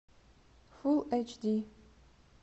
фул эйч ди